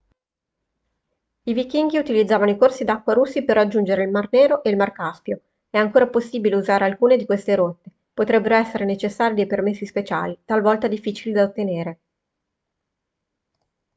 i vichinghi utilizzavano i corsi d'acqua russi per raggiungere il mar nero e il mar caspio è ancora possibile usare alcune di queste rotte potrebbero essere necessari dei permessi speciali talvolta difficili da ottenere